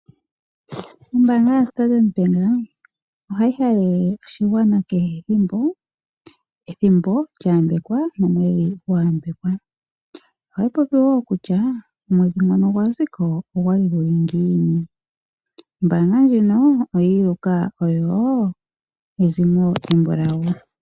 Ombaanga yoStandard bank ohayi halele oshigwana ethimbo lya yambekwa. Ohayi popi wo kutya omwedhi gwaziko ogwali guli ngiini. Ombaanga ndjino oyi iluka oyo ezimo embulawu.